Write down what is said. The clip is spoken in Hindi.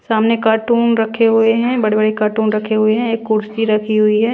सामने कार्टून रखे हुए हैं बड़े-बड़े कार्टून रखे हुए हैं एक कुर्सी रखी हुई है।